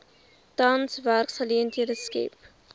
tans werksgeleenthede skep